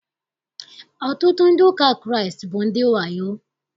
Ọtụtụ ndị ụka Kraịst bụ ndị wayo.